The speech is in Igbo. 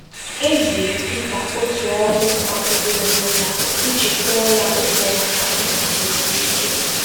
E ziri Pita otu ọhụụ magburu onwe ya iji kwụọ ya ụgwọ maka ịguzosị ike